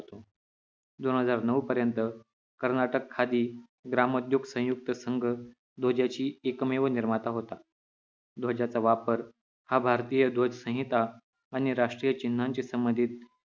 दोन हजार नऊ पर्यंत कर्नाटक खादी ग्राम उद्योग संयुक्त संघ ध्वजाची एकमेव निर्माता होता ध्वजाचा वापर हा भारतीय ध्वज संहिता आणि राष्ट्रीय चिन्हांची संबधीत